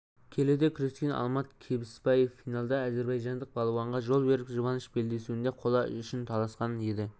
келіде күрескен алмат кебісбаев финалда әзербайжандық балуанға жол беріп жұбаныш белдесуінде қола үшін таласқа түскен еді